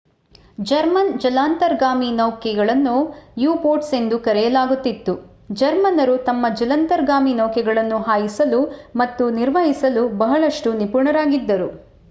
German ಜಲಾಂತರ್ಗಾಮಿ ನೌಕೆಗಳನ್ನು U boats ಎಂದು ಕರೆಯಲಾಗುತ್ತಿತ್ತು ಜರ್ಮನ್ನರು ತಮ್ಮ ಜಲಾಂತರ್ಗಾಮಿ ನೌಕೆಗಳನ್ನು ಹಾಯಿಸಲು ಮತ್ತು ನಿರ್ವಹಿಸಲು ಬಹಳಷ್ಟು ನಿಪುಣರಾಗಿದ್ದರು